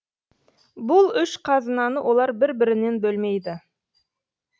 бұл үш қазынаны олар бір бірінен бөлмейді